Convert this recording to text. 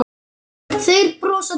Þeir brosa til hans.